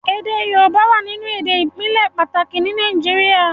èdè yorùbá wá nínú èdè ibile pàtàkì ní Nàìjíríà.